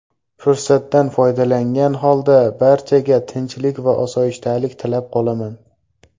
Fursatdan foydalangan holda barchaga tinchlik va osoyishtalik tilab qolaman”.